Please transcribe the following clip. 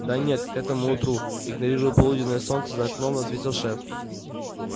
да нет к этому утру игнорируя полуденное солнце за окном ответил шеф